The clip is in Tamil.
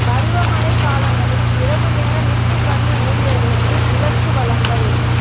பருவமழை காலங்களில் இரவு நேர மீட்பு பணி ஊழியர்களுக்கு விளக்கு வழங்கல்